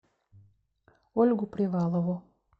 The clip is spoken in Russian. ольгу привалову